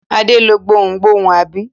Adé lọ gbohùngbohùn, àbí?